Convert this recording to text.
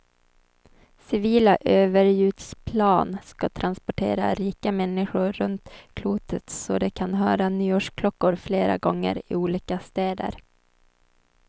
Civila överljudsplan ska transportera rika människor runt klotet så de kan höra nyårsklockor flera gånger, i olika städer.